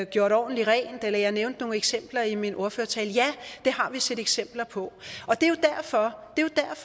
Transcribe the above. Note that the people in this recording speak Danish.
gjort ordentligt rent jeg nævnte nogle eksempler i min ordførertale ja det har vi set eksempler på